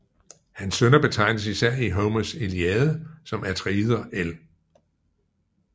Hans sønner betegnes især i Homers Iliade som Atreider el